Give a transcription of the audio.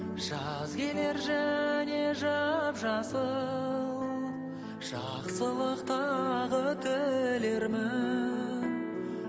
жаз келер және жап жасыл жақсылық тағы тілермін